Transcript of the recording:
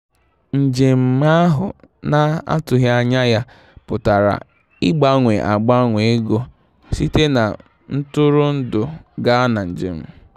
Njem ahụ na-atụghị anya ya pụtara ịgbanwe ịgbanwe ego site na ntụrụndụ gaa na njem.